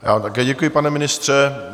Já vám také děkuji, pane ministře.